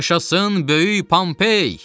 Yaşasın böyük Pompey!